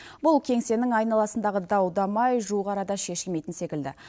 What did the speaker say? бұл кеңсенің айналасындағы дау дамай жуық арада шешілмейтін секілді